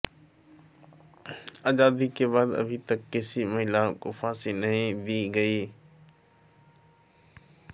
आजादी के बाद अभी तक किसी महिला को फांसी नहीं दी गई